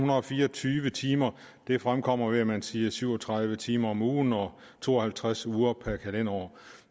fire og tyve timer det fremkommer ved at man siger syv og tredive timer om ugen og to og halvtreds uger per kalenderår